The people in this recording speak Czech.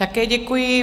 Také děkuji.